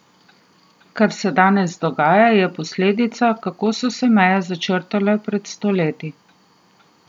Kar se danes dogaja, je posledica, kako so se meje začrtale pred sto leti.